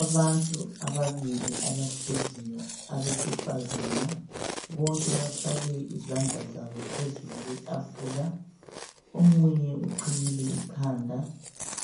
Abantu ababili abahleziyo abesifazana bonke bafake izandla zabophezulu kwetafula omunye uqhiyile ikhanda